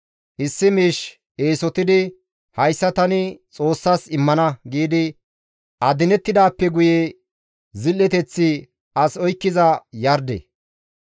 Issi miish Eesotidi, «Hayssa tani Xoossas immana» giidi adinettidaappe guye zil7eteththi as oykkiza yarde.